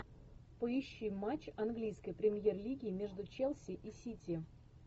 поищи матч английской премьер лиги между челси и сити